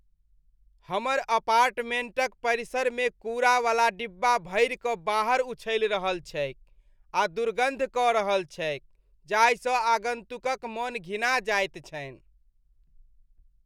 हमर अपार्टमेंटक परिसरमे कूड़ावला डिब्बा भरि कऽ बाहर उछलि रहल छैक आ दुर्गन्ध कऽ रहल छैक जाहिसँ आगन्तुकक मन घिना जाइत छनि।